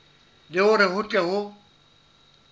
le hore ho tle ho